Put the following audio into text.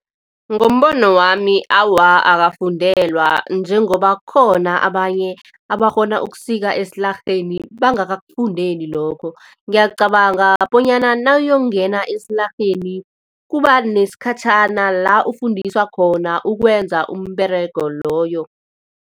Ngombono wami awa, akafundelwa njengoba kukhona abanye abakghona ukusika esilarheni bangakakufundeli lokho. Ngiyacabanga bonyana nayongena esilarheni kubanesikhathitjhana la ukufundiswa khona ukwenza umberego loyo.